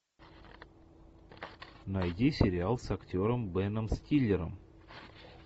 найди сериал с актером беном стиллером